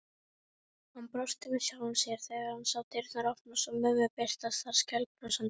Hann brosti með sjálfum sér þegar hann sá dyrnar opnast og mömmu birtast þar skælbrosandi.